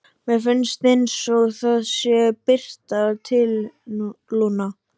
Mér finnst einsog það sé að birta til, Lúna.